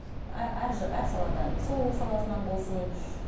әр саладан сұлулық саласынан болсын